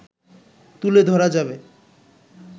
তুলে ধরা যাবে